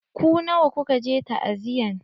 Ku nawa kuka je ta'aziyan?